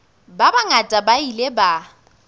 ba bangata ba ile ba